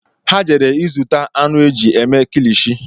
Ha jere ịzụta anụ eji eme kilishi